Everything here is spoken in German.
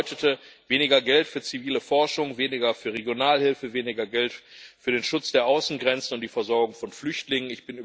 Das bedeutete weniger Geld für zivile Forschung, weniger für Regionalhilfe, weniger Geld für den Schutz der Außengrenzen und die Versorgung von Flüchtlingen.